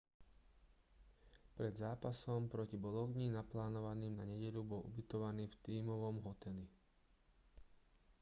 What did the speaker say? pred zápasom proti bologni naplánovaným na nedeľu bol ubytovaný v tímovom hoteli